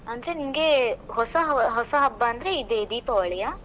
ಅಂದ್ರೆ ನಿಮ್ಗೆ ಹೊಸ, ಹೊಸ ಹಬ್ಬ ಅಂದ್ರೆ ಇದೇ ದೀಪಾವಳಿಯಾ?